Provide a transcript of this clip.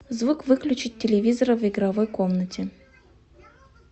звук выключить телевизора в игровой комнате